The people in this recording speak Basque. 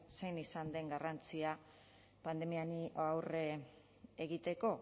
zein izan den garrantzia pandemia honi aurre egiteko